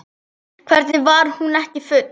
Hvernig var hún ekki full?